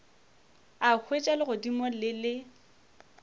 a hwetša legodimo le le